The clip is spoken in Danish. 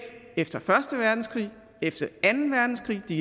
efter første verdenskrig efter anden verdenskrig det